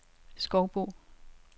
Skovbo